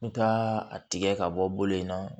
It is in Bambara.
N ka a tigɛ ka bɔ yen nɔ